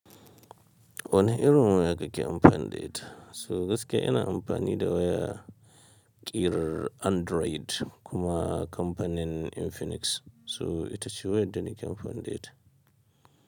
Wane irin waya kake amfanida? So gaskiya ina amfani da waya ƙirar Android kuma kampanin Infinix. So ita ce wayar da nake amfanida.